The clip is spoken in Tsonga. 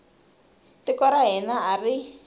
tiko ra hina a ri